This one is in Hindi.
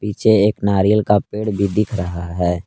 पीछे एक नारियल का पेड़ भी दिख रहा है।